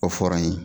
O fɔra n ye